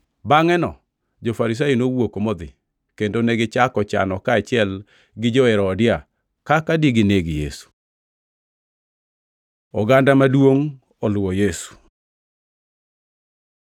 Bangʼeno jo-Farisai nowuok modhi kendo negichako chano kaachiel gi jo-Herodia kaka digineg Yesu. Oganda maduongʼ oluwo Yesu